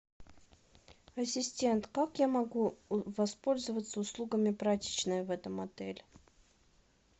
ассистент как я могу воспользоваться услугами прачечной в этом отеле